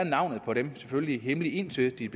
selvfølgelig hemmelige indtil de